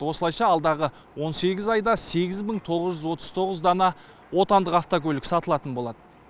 осылайша алдағы он сегіз айда сегіз мың тоғыз жүз отыз тоғыз дана отандық автокөлік сатылатын болады